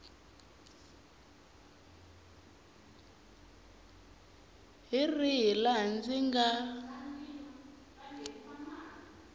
hi rihi laha ndzi nga